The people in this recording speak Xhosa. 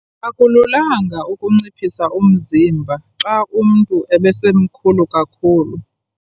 Akululanga ukunciphisa umzimba xa umntu ebesemkhulu kakhulu.